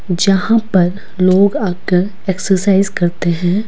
जहां पर लोग आकर एक्सरसाइज करते हैं।